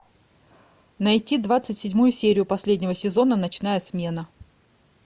найти двадцать седьмую серию последнего сезона ночная смена